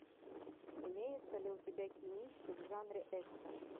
имеется ли у тебя кинище в жанре экшн